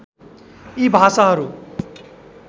यी भाषाहरू